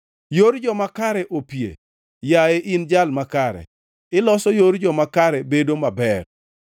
Yor joma kare opie, yaye in Jal makare, iloso yor joma kare bedo maber.